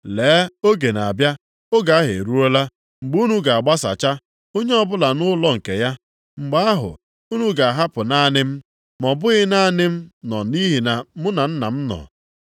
Lee! Oge na-abịa, oge ahụ eruola, mgbe unu ga-agbasacha. Onye ọbụla nʼụlọ nke ya. Mgbe ahụ, unu ga-ahapụ naanị m, ma ọ bụghị naanị m nọ nʼihi na mụ na Nna m nọ.